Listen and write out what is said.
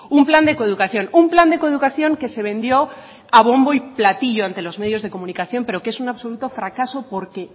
un plan de coeducación un plan de coeducación que se vendió a bombo y platillo ante los medios de comunicación pero que es un absoluto fracaso porque